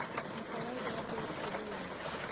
николай эдуардович гадиян